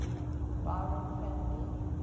byron family